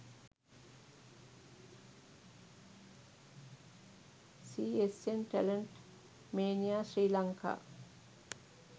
csn talent mania sri lanka